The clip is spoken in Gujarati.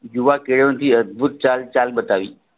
યુવા ખેલોથી અદભુત ચાલ ચાલ બતાવી